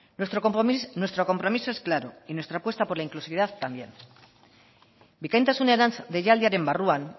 nuestro compromiso es claro y nuestra apuesta por la inclusividad también bikaintasunerantz deialdiaren barruan